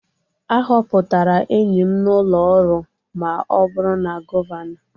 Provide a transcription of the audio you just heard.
A họpụtara enyi m n'ụlọ ọrụ ma ọ bụrụ na Gọvanọ